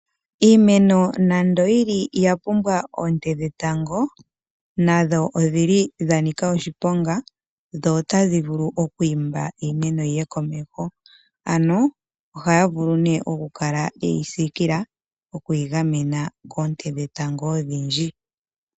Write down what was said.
Iimeno nando yili yapumwa oonte dhetango nadho odhili dhanika oshiponga dho otadhi vulu okwiimba iimeno yiye komeho, ano ohaya vulu ne okukala yeyi siikila okuyigamena koonte dhetango odhindji.